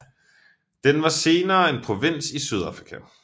Den var senere en provins i Sydafrika